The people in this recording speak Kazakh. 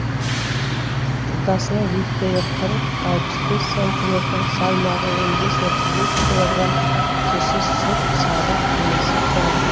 жотасының биіктігі қырық алпыс бес сантиметр салмағы он бес отыз бес килограмм түсі сұр сары немесе қоңыр